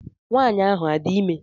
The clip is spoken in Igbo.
Nwanyị ahụ adị ime?